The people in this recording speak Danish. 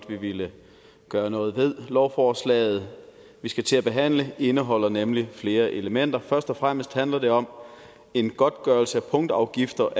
vi ville gøre noget ved lovforslaget vi skal til at behandle indeholder nemlig flere elementer først og fremmest handler det om en godtgørelse af punktafgifter